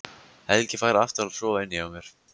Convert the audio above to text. Helgi fær aftur að sofa inni hjá mér.